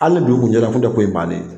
Hali ni dugu tun jɛra o tun tɛ ko in bannen ye